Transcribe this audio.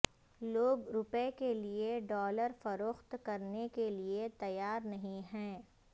لوگ روپے کے لیے ڈالر فروخت کرنے کے لیے تیار نہیں ہیں